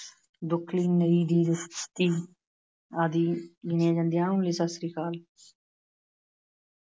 ਆਦਿ ਗਿਣੀਆਂ ਜਾਂਦੀਆਂ ਹਨ। ਸਤਿ ਸ੍ਰੀ ਅਕਾਲ।